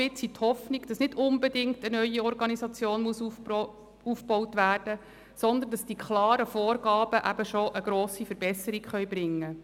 Wir hoffen aber auch, dass nicht unbedingt eine neue Organisation aufgebaut werden muss, sondern dass die klaren Vorgaben schon eine grosse Verbesserung bringen.